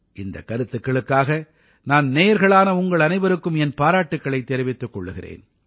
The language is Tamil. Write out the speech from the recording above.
இந்தக் கருத்துக்களுக்காக நான் நேயர்களான உங்கள் அனைவருக்கும் என் பாராட்டுக்களைத் தெரிவித்துக் கொள்கிறேன்